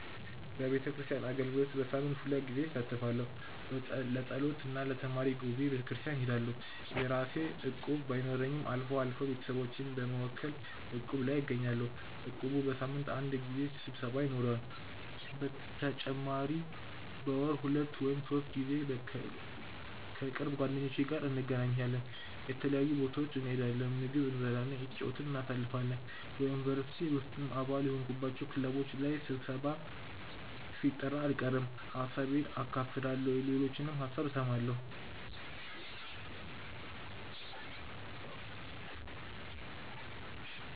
በቤተክርስቲያን አገልግሎት በሳምንት ሁለት ጊዜ እሳተፋለሁ። ለጸሎት እና ለተማሪ ጉባኤ በቤተክርስቲያን እሄዳለሁ። የራሴ እቁብ ባይኖረኝም አልፎ አልፎ ቤተሰቦቼን በመወከል እቁብ ላይ እገኛለሁ። እቁቡ በሳምንት አንድ ጊዜ ስብሰባ ይኖረዋል። በተጨማሪም በወር ሁለት ወይም ሶስት ጊዜ ከቅርብ ጓደኞቼ ጋር እንገናኛለን። የተለያዩ ቦታዎች እንሄዳለን፣ ምግብ እየበላን እየተጨዋወትን እናሳልፋለን። በ ዩኒቨርሲቲ ውስጥም አባል የሆንኩባቸው ክለቦች ላይ ስብሰባም ሲጠራ አልቀርም። ሀሳቤን አካፍላለሁ የሌሎችንም ሀሳብ እሰማለሁ።